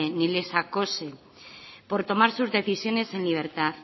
ni les acose por tomar sus decisiones en libertad